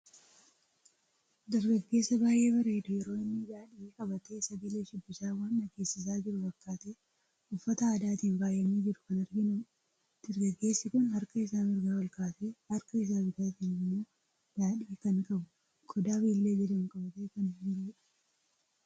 Dargaggeessa baay'ee bareedu yeroo inni daadhii qabate sagalee shubbisa waan dhageessisa jiru fakkate ,uffata aadaatiin faayame jiru kan arginudha. Dargaggeessi kun harkaa isa mirgaa ol kaasee ,harkaa isaa bitattimmo daadhii kan qabu qoda bilillee jedhamu qabate kan jirudha.